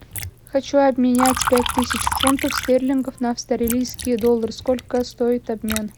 хочу обменять пять тысяч фунтов стерлингов на австралийские доллары сколько стоит обмен